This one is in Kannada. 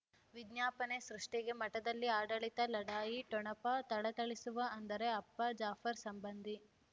ವಿಜ್ಞಾಪನೆ ಸೃಷ್ಟಿಗೆ ಮಠದಲ್ಲಿ ಆಡಳಿತ ಲಢಾಯಿ ಠೊಣಪ ಥಳಥಳಿಸುವ ಅಂದರೆ ಅಪ್ಪ ಜಾಫರ್ ಸಂಬಂಧಿ